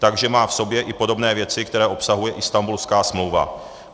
Takže má v sobě i podobné věci, které obsahuje Istanbulská smlouva.